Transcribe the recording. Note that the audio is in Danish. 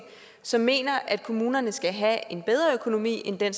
som mener at kommunerne skal have en bedre økonomi end den